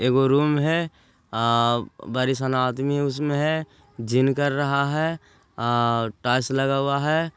यह रूम हैं अ-घनिसो बरी सना ओ आदमी उसमें हैं जिम कर रहा हैं अ-टाइल्स लगा हुआ हैं।